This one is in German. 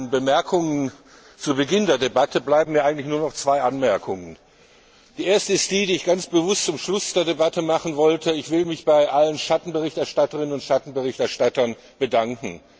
Nach meinen Ausführungen zu Beginn der Debatte bleiben mir eigentlich nur noch zwei Anmerkungen Die erste, die ich ganz bewusst zum Schluss der Debatte machen wollte Ich will mich bei allen Schatten Berichterstatterinnen und Schatten Berichterstattern bedanken.